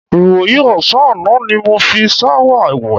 Ìwòyí ò̩sán àná ni mo fi s̩áwà wè̩.